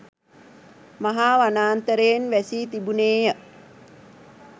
මහා වනාන්තරයෙන් වැසී තිබුනේය.